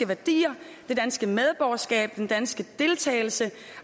værdier det danske medborgerskab den danske deltagelse